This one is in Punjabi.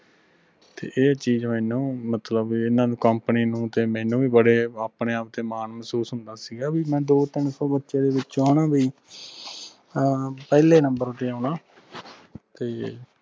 ਤੇ ਇਹ ਚੀਜ ਮੈਨੂੰ ਮਤਲਬ ਐਨਾ company ਨੂੰ ਤੇ ਮੈਨੂੰ ਬੜੇ ਆਪਣੇ ਆਪ ਤੇ ਮਾਨ ਮਹਿਸੂਸ ਹੁੰਦਾ ਸੀਗਾ ਵੀ ਮੈਂ ਦੋ ਤਿਨ ਸੋ ਬਚੇ ਦੇ ਵਿੱਚੋ ਹਣਾ ਬਈ ਆ ਪਹਲੇ ਨੰਬਰ ਤੇ ਆਉਣਾ ਤੇ